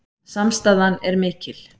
Samstaðan er mikil